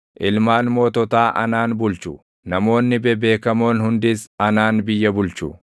Ilmaan moototaa anaan bulchu; namoonni bebeekamoon hundis anaan biyya bulchu.